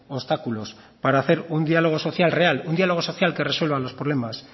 obstáculos para hacer un diálogo social real un diálogo social que resuelva los problemas